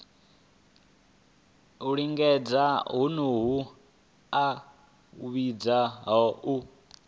lingedza honoho a vhidzwa u